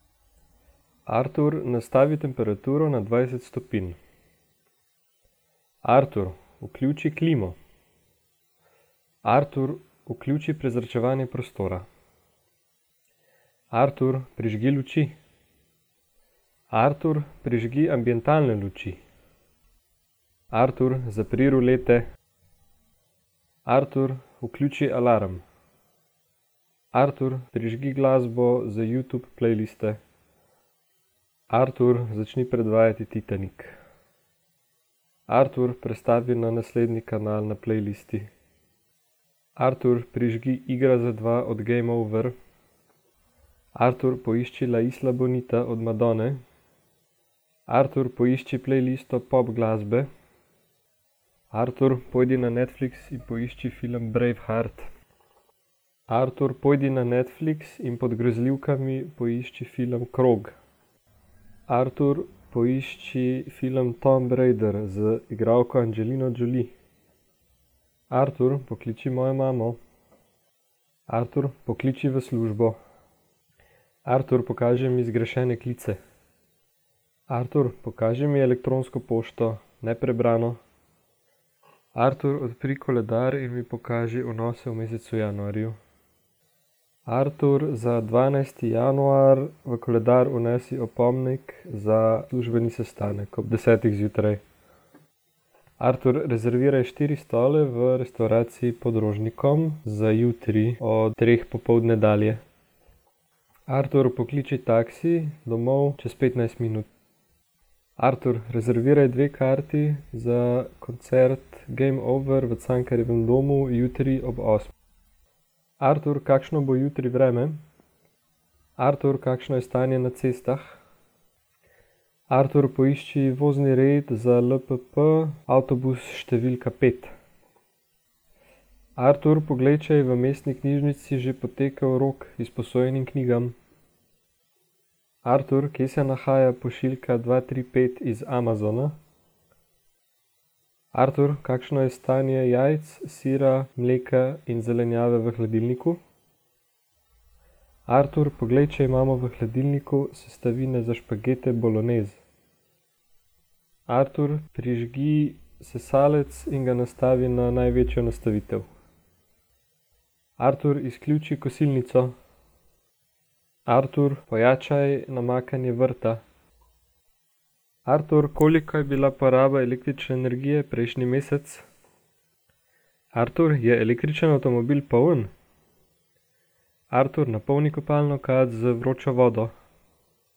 Artur, nastavi temperaturo na dvajset stopinj. Artur, vključi klimo. Artur, vključi prezračevanje prostora. Artur, prižgi luči. Artur, prižgi ambientalne luči. Artur, zapri rolete. Artur, vključi alarm. Artur, prižgi glasbo z Youtube playliste. Artur, začni predvajati Titanik. Artur, prestavi na naslednji kanal na playlisti. Artur, prižgi Igra za dva od Game Over. Artur, poišči La isla bonita od Madonne. Artur, poišči playlisto pop glasbe. Artur, pojdi na Netflix in poišči film Braveheart. Artur, pojdi na Netflix in pod grozljivkami poišči film Krog. Artur, poišči film Tomb Raider z igralko Angelino Jolie. Artur, pokliči mojo mamo. Artur, pokliči v službo. Artur, pokaži mi zgrešene klice. Artur, pokaži mi elektronsko pošto, neprebrano. Artur odpri koledar in mi pokaži vnose v mesecu januarju. Artur, za dvanajsti januar v koledar vnesi opomnik za službeni sestanek ob desetih zjutraj. Artur, rezerviraj štiri stole v restavraciji Pod Rožnikom za jutri od treh popoldne dalje. Artur, pokliči taksi, domov, čez petnajst minut. Artur, rezerviraj dve karti za koncert Game Over v Cankarjevem domu jutri ob Artur, kakšno bo jutri vreme? Artur, kakšno je stanje na cestah? Artur, poišči vozni red za LPP avtobus številka pet. Artur, poglej, če je v mestni knjižnici že potekel rok izposojenim knjigam. Artur, kje se nahaja pošiljka dva, tri, pet iz Amazona? Artur, kakšno je stanje jajc, sira, mleka in zelenjave v hladilniku? Artur, poglej, če imamo v hladilniku sestavine za špagete bolognese. Artur, prižgi sesalec in ga nastavi na največjo nastavitev. Artur, izključi kosilnico. Artur, pojačaj namakanje vrta. Artur, koliko je bila poraba električne energije prejšnji mesec? Artur, je električni avtomobil poln? Artur, napolni kopalno kad z vročo vodo.